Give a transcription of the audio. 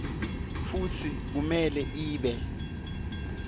futsi kumele ibe